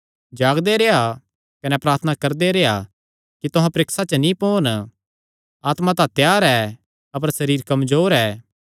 जागदे रेह्आ कने प्रार्थना करदे रेह्आ कि तुहां परीक्षा च नीं पोन आत्मा तां त्यार ऐ अपर सरीर कमजोर ऐ